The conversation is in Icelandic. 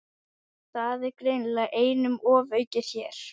Það er greinilega einum ofaukið hér.